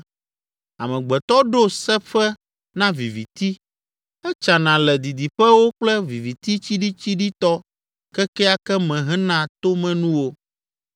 Amegbetɔ ɖo seƒe na viviti, etsana le didiƒewo kple viviti tsiɖitsiɖitɔ kekeake me hena tomenuwo.